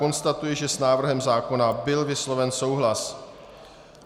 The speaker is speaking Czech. Konstatuji, že s návrhem zákona byl vysloven souhlas.